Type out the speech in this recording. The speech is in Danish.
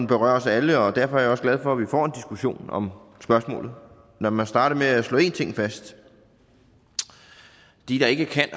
berører os alle og derfor er jeg også glad for at vi får en diskussion om spørgsmålet lad mig starte med at slå en ting fast de der ikke kan